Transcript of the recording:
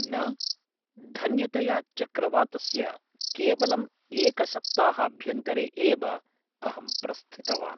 न, धन्यतया चक्रवातस्य केवलम् एकसप्ताहाभ्यन्तरे एव अहं प्रस्थितवान्।